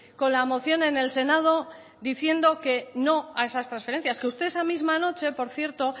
con la moción en el senado diciendo que no a esas transferencias que usted esa misma noche por cierto